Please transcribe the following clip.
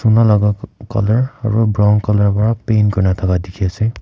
laga colour aru brown colour ra paint kurina thaka dikhi ase.